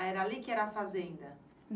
Ah, era ali que era a fazenda?